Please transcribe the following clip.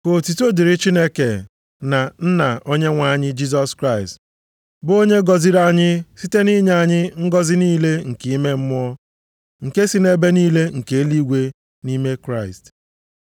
Ka otuto dịrị Chineke, na Nna Onyenwe anyị Jisọs Kraịst, bụ onye gọziri anyị site nʼinye anyị ngọzị niile nke ime mmụọ nke si nʼebe niile nke eluigwe nʼime Kraịst.